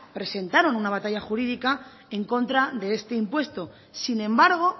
presentaron una batalla jurídica en contra de este impuesto sin embargo